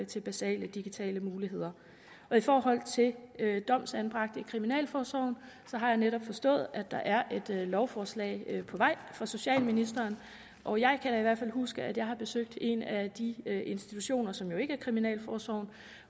til basale digitale muligheder i forhold til domsanbragte i kriminalforsorgen har jeg netop forstået at der er et lovforslag på vej fra socialministeren og jeg kan i hvert fald huske at jeg har besøgt en af de institutioner som ikke er kriminalforsorgen